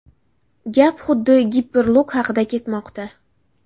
Gap xuddi Hyperloop haqida ketmoqda.